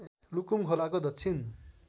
लुकुम खोलाको दक्षिण